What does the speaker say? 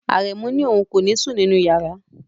Aremu ni oun ko ni sun ninu yara